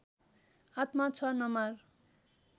आत्मा छ नमार